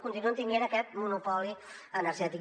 continuïn tenint aquest monopoli energètic